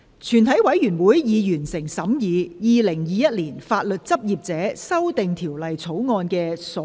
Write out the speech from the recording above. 全體委員會已完成審議《2021年法律執業者條例草案》的所有程序。